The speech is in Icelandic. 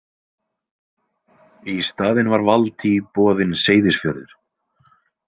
Í staðinn var Valtý boðinn Seyðisfjörður.